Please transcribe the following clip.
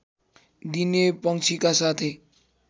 दिने पंक्षीका साथै